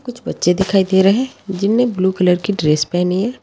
कुछ बच्चे दिखाई दे रहे हैं जिन्होंने ब्लू कलर की ड्रेस पहनी हुई है।